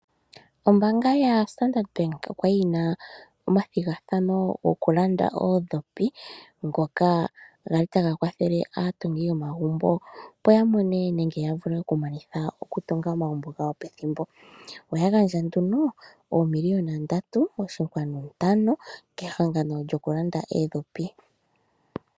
Ombaanga yo standard bank okwali yina omathigathano goku landa oondhipi ngoka gali taga kwathele aatungi yomagumbo. Opo ya vule okumanitha oku tunga omagumbo gawo pethimbo. Oya gandja nduno oomiliyona ndatu oshinkwanu ntano kehangano lyoku landa oondhipi.